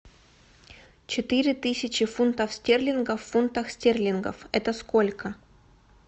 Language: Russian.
четыре тысячи фунтов стерлингов в фунтах стерлингов это сколько